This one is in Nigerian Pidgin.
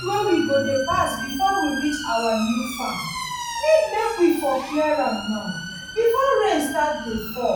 road wey we go pass befor we reach our new farm need make we for clear am now befor rain start dey fall